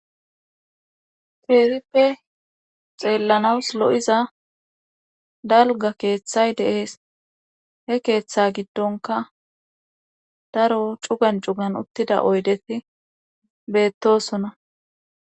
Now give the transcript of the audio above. Feerippe xeellanaws lo'iza dalga keeththay deees he keeththa giddonka daro cugan cugan uttida oydeti beettosonna.